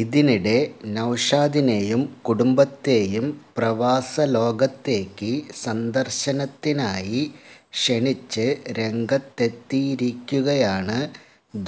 ഇതിനിടെ നൌഷാദിനേയും കുടുംബത്തേയും പ്രവാസലോകത്തേക്ക് സന്ദർശത്തിനായി ക്ഷണിച്ച് രംഗത്തെത്തിയിരിക്കുകയാണ്